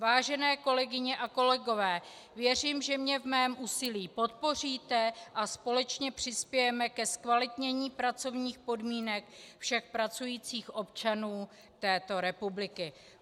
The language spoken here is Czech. Vážené kolegyně a kolegové, věřím, že mě v mém úsilí podpoříte a společně přispějeme ke zkvalitnění pracovních podmínek všech pracujících občanů této republiky.